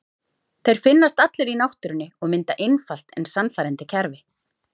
Þeir finnast allir í náttúrunni og mynda einfalt en sannfærandi kerfi.